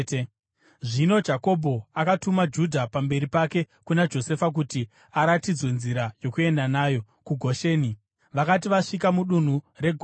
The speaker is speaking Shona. Zvino Jakobho akatuma Judha pamberi pake kuna Josefa kuti aratidzwe nzira yokuenda nayo kuGosheni. Vakati vasvika mudunhu reGosheni,